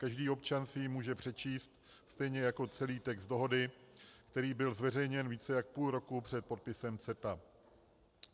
Každý občan si ji může přečíst, stejně jako celý text dohody, který byl zveřejněn více než půl roku před podpisem CETA.